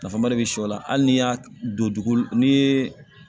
Nafaba de be s'aw la hali n'i y'a don dugukolo n'i ye